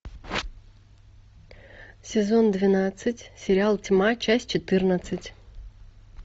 сезон двенадцать сериал тьма часть четырнадцать